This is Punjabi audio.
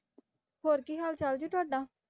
ਹੋਰ ਕੀ ਹਾਲ ਚਾਲ ਜੀ ਤੁਹਾਡਾ